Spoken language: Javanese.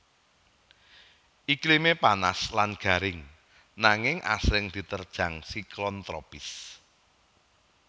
Iklimé panas lan garing nanging asring diterjang siklon tropis